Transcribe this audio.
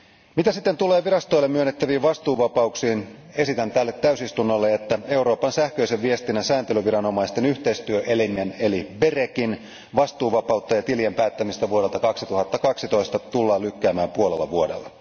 Mitä sitten tulee virastoille myönnettäviin vastuuvapauksiin, esitän tälle täysistunnolle, että Euroopan sähköisen viestinnän sääntelyviranomaisten yhteistyöelimen eli BERECin vastuuvapautta ja tilien päättämistä vuodelta 2012 tullaan lykkäämään puolella vuodella.